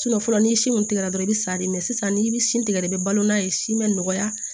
fɔlɔ n'i si mun tigɛra dɔrɔn i bɛ sa de mɛn sisan n'i bɛ si tigɛ dɔrɔn i bɛ balo n'a ye sin bɛ nɔgɔya